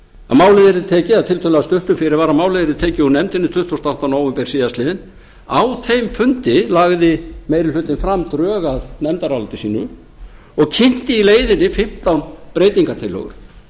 að málið yrði tekið úr nefndinni tuttugasta og áttunda nóvember síðastliðinn á þeim fundi lagði meiri hlutinn fram drög að nefndaráliti sínu og kynnti í leiðinni fimmtán breytingartillögur